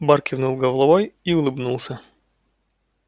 бар кивнул головой и улыбнулся